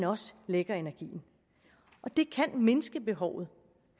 også lægger energien det kan mindske behovet